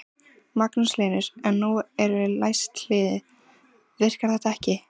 Magnús Hlynur: En nú eru læst hlið, virkar þetta ekki?